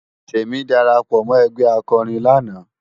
Temi dàrápò mò ègbè àkòrín làná